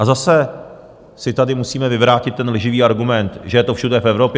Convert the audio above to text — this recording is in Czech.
A zase si tady musíme vyvrátit ten lživý argument, že je to všude v Evropě.